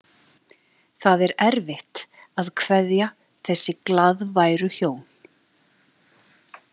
Það er erfitt að kveðja þessi glaðværu hjón.